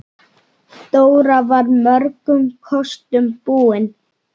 Dóra var mörgum kostum búin.